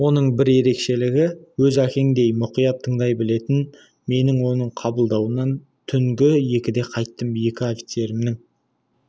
оның бір ерекшелігі өз әкеңдей мұқият тыңдай білетін мен оның қабылдауынан түнгі екіде қайттым екі офицерімнің